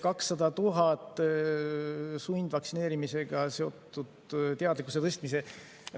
200 000 sundvaktsineerimisega seotud teadlikkuse tõstmiseks.